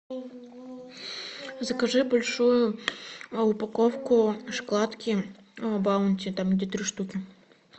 закажи большую упаковку шоколадки баунти там где три штуки